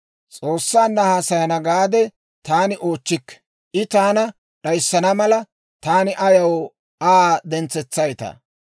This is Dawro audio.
S'oossaanna haasayana gaade taani oochchikke; I taana d'ayissana mala, taani ayaw Aa dentsereetsaytta?